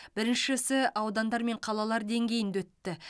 біріншісі аудандар мен қалалар деңгейінде өтті